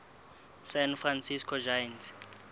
san francisco giants